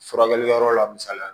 Furakɛli yɔrɔ la misali la